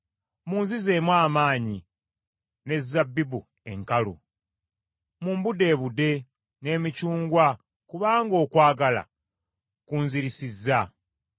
Munzizeemu amaanyi n’ezabbibu enkalu, mumbuddeebudde n’emicungwa kubanga okwagala kunzirisizza.